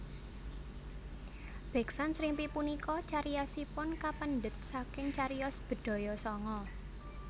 Beksan Srimpi punika cariyosipun kapendhet saking cariyos Bedhaya Sanga